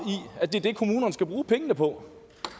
er det er det kommunerne skal bruge pengene på